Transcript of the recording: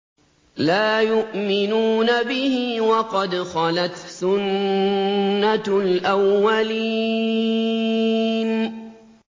لَا يُؤْمِنُونَ بِهِ ۖ وَقَدْ خَلَتْ سُنَّةُ الْأَوَّلِينَ